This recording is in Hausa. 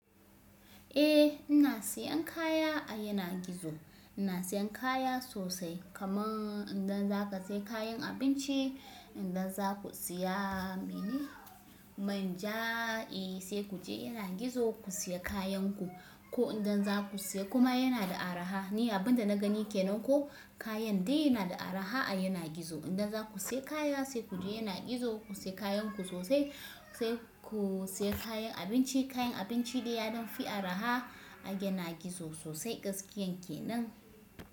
Eh ina siyan kaya a yanagi zo, ina siyan kaya sosai kaman idan zaka saya kayan abinci idan zaku siya mene? Manja eh sai ku je yanagi zo ku siya kayanku. Ko idan za ku siya kuma yana da araha ni abunda na gani kenan ko kayan dai yana da araha a yanagi zo. Idan za ku siya kaya sai ku je yanagi zo ku siya kayanku sosai sai ku siya kayan abinci kayan abinci dai ya don fi araha a yanagi zo sosai gaskiyan kenan.